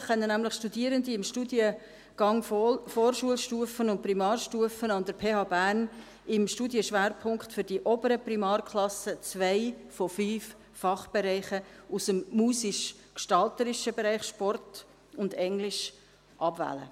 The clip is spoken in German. Tatsächlich können nämlich Studierende im Studiengang Vorschulstufe und Primarstufe an der PH Bern im Studienschwerpunkt für die oberen Primarklassen zwei von fünf Fachbereichen aus dem musisch-gestalterischen Bereich, Sport und Englisch abwählen.